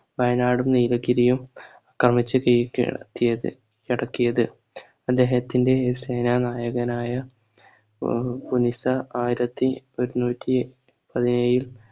വയനാടും നീലഗിരിയും ക്രമിച് കീ കീഴടക്കിയത് ടക്കിയത് അദ്ദേഹത്തിൻറെ സേന നായകനായ ഓം മുനിസ ആയിരത്തി ഒരുനുറ്റി പതിനേഴിൽ